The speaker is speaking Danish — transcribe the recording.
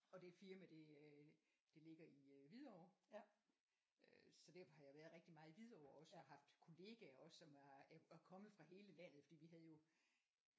Og det firma det øh det ligger i øh Hvidovre øh så derfor har jeg været rigtig meget i Hvidovre også haft kollegaer også som er kommet fra hele landet fordi vi havde jo